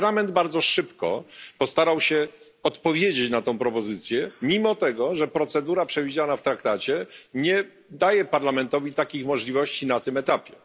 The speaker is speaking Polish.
Parlament bardzo szybko postarał się odpowiedzieć na tę propozycję, mimo tego że procedura przewidziana w traktacie nie daje Parlamentowi takich możliwości na tym etapie.